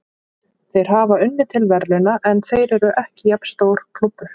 Þeir hafa unnið til verðlauna, en þeir eru ekki jafn stór klúbbur.